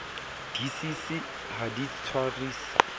di cc ha di tshwarisi